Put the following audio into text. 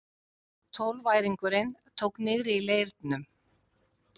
Tólfæringurinn tók niðri í leirnum.